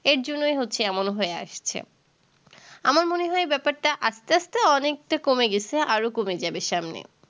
এর জন্যই হচ্ছে এমন হয়ে আসছে আমার মনে হয় ব্যাপারটা আসতে আসতে অনেক টা কমে গেছে আরো কমে যাবে সামনে